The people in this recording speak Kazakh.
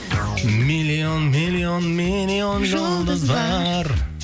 миллион миллион миллион жұлдыз бар